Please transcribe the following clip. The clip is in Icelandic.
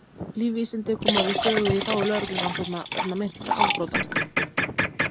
lífvísindi koma víða við sögu í þágu lögreglurannsókna vegna meintra afbrota